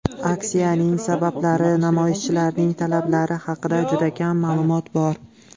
Aksiyaning sabablari, namoyishchilarning talablari haqida juda kam ma’lumot bor.